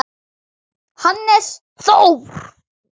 Hannes Þór.